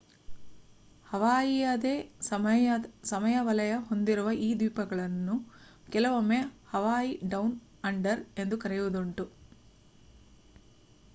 ಹವಾಯಿಯದೇ ಸಮಯ ವಲಯ ಹೊಂದಿರುವ ಈ ದ್ವೀಪಗಳನ್ನು ಕೆಲವೊಮ್ಮೆ ಹವಾಯಿ ಡೌನ್ ಅಂಡರ್ ಎಂದು ಕರೆಯುವುದುಂಟು